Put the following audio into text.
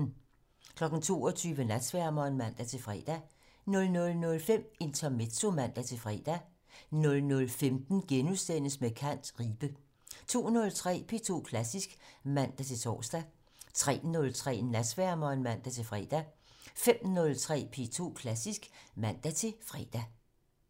22:00: Natsværmeren (man-fre) 00:05: Intermezzo (man-fre) 00:15: Med kant - Ribe * 02:03: P2 Klassisk (man-tor) 03:03: Natsværmeren (man-fre) 05:03: P2 Klassisk (man-fre)